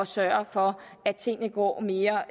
sørge for at tingene går mere